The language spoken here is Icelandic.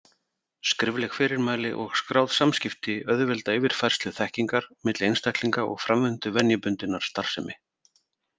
Skrifleg fyrirmæli og skráð samskipti auðvelda yfirfærslu þekkingar milli einstaklinga og framvindu venjubundinnar starfsemi.